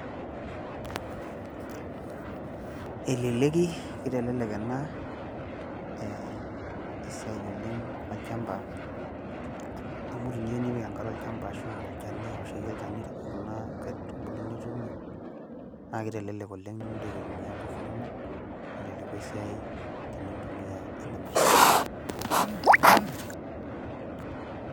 eleleki, kitelelek ena esiai oleng olchampa, amu teniyieu nipik enkare olchampa ashu olchaniaoshoki olchani, kuna kaitubulu nituuno. naa kitelelk oleng nimintoki aitumia nkifu kumok, nelelku esiai, nintumia ina mashini.